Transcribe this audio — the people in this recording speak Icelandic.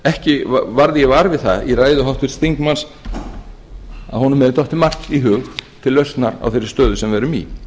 ekki varð ég var við það í ræðu háttvirts þingmanns að honum hefði dottið margt í hug til lausnar á þeirri stöðu sem við erum í